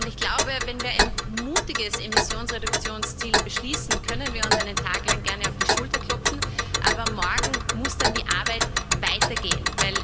Ich glaube, wenn wir ein mutiges Emissionsreduktionsziel beschließen, können wir uns einen Tag lang gerne auf die Schulter klopfen, aber morgen muss dann die Arbeit weitergehen.